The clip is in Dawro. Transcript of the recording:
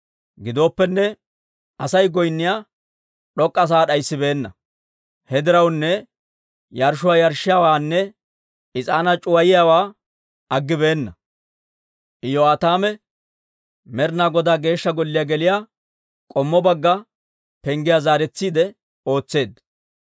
Gidooppenne Asay goynniyaa d'ok'k'a sa'aa d'ayisibeenna; he diraw yarshshuwaa yarshshiyaawaanne is'aanaa c'uwayiyaawaa aggibeenna. Iyo'aataame Med'ina Godaa Geeshsha Golliyaa geliyaa k'ommo bagga penggiyaa zaaretsiide ootseedda.